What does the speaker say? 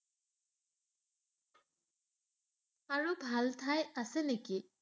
আৰু ভাল ঠাই আছে নেকি?